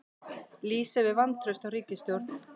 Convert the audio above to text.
Lýsa yfir vantrausti á ríkisstjórn